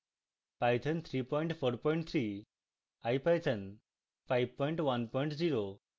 python 343